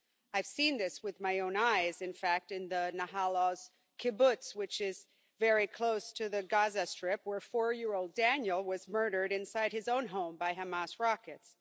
I've seen this with my own eyes, in fact, in the Nahal Oz kibbutz, which is very close to the Gaza Strip, where four year old Daniel was murdered inside his own home by Hamas rockets.